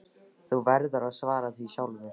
Þú verður að svara því sjálfur.